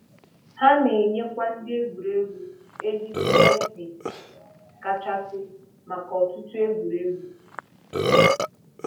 Ha na-enyekwa ndị egwuregwu ejiji HD kachasị maka ọtụtụ egwuregwu.